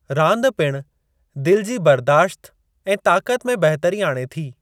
रांदि पिणु दिलि जी बर्दाश्त ऐं ताक़त में बहितरी आणे थी।